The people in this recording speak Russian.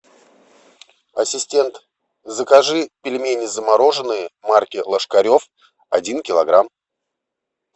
ассистент закажи пельмени замороженные марки ложкарев один килограмм